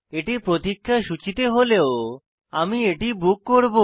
এটি প্রতিক্ষা সূচীতে হলেও আমি এটি বুক করব